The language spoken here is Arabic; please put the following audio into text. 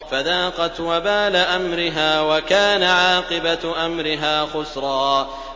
فَذَاقَتْ وَبَالَ أَمْرِهَا وَكَانَ عَاقِبَةُ أَمْرِهَا خُسْرًا